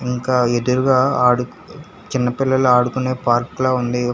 ఇంకా ఎదురుగా ఆడు చిన్న పిల్లలు ఆడుకునే పార్క్ లా ఉంది.